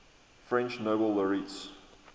french nobel laureates